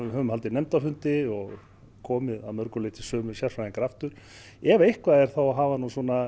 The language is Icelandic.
höfum haldið nefndarfundi og komið að mörgu leyti sömu sérfræðingar aftur ef eitthvað er þá hafa